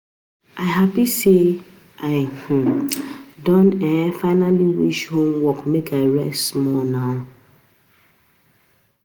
I happy sey I um don um finally finish homework make I rest small now